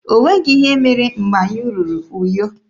O nweghị ihe mere mgbe anyị ruru Uyo.